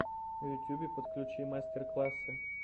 в ютюбе подключи мастер классы